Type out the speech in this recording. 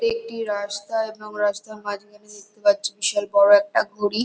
এটি রাস্তা এবং রাস্তার মাঝখানে দেখতে পাচ্ছি বিশাল বড় একটা ঘড়ি ।